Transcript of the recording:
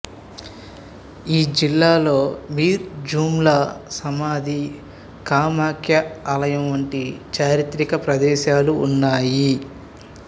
ఈ జిల్లాలో మీర్ జుమ్లా సమాధి కామాఖ్యా ఆలయం వంటి చారిత్రక ప్రదేశాలు ఉన్నాయి